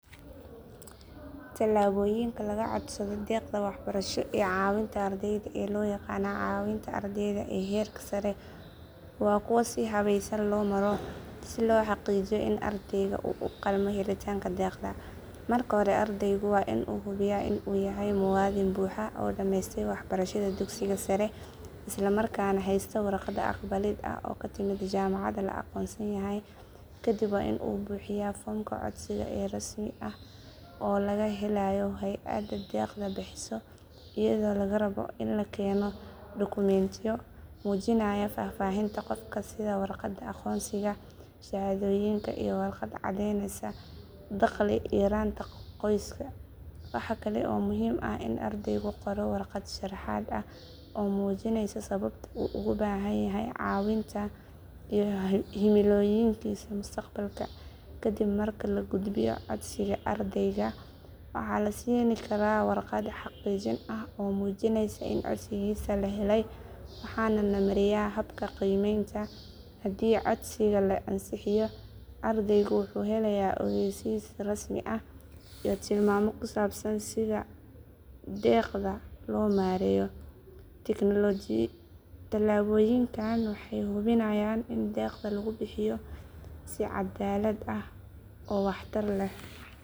Talaabooyinka lagu codsado deeqda waxbarasho ee caawinta ardayda ee loo yaqaan caawinta ardayda ee heerka sare waa kuwo si habaysan loo maro si loo xaqiijiyo in ardayga uu u qalmo helitaanka deeqda. Marka hore ardaygu waa in uu hubiyaa in uu yahay muwaadin buuxa oo dhameystay waxbarashada dugsiga sare islamarkaana haysta warqad aqbalid ah oo ka timid jaamacad la aqoonsan yahay. Kadib waa in uu buuxiyaa foomka codsiga ee rasmi ah oo laga helayo hay’adda deeqda bixisa iyadoo laga rabo in la keeno dukumiintiyo muujinaya faahfaahinta qofka sida warqadda aqoonsiga, shahaadooyinka, iyo warqad cadeynaysa dakhli yaraanta qoyska. Waxa kale oo muhiim ah in ardaygu qoro warqad sharaxaad ah oo muujinaysa sababta uu ugu baahan yahay caawinta iyo himilooyinkiisa mustaqbalka. Kadib marka la gudbiyo codsiga, ardayga waxaa la siin karaa warqad xaqiijin ah oo muujinaysa in codsigiisa la helay, waxaana la mariyaa habka qiimeynta. Haddii codsiga la ansixiyo, ardaygu wuxuu helayaa ogeysiis rasmi ah iyo tilmaamo ku saabsan sida deeqda loo maareeyo. Talaabooyinkani waxay hubinayaan in deeqda lagu bixiyo si caddaalad ah oo waxtar leh.